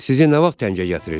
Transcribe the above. Sizi nə vaxt təngə gətirir?